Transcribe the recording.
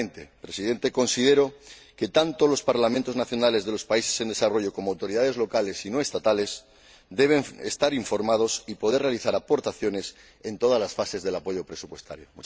Finalmente, señor Presidente, considero que, tanto los Parlamentos nacionales de los países en desarrollo como las autoridades locales y no estatales, deben estar informados y poder realizar aportaciones en todas las fases del apoyo presupuestario.